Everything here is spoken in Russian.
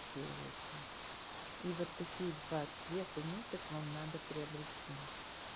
цитируется и вот такие два цвета ниток вам надо приобрести